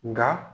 Nka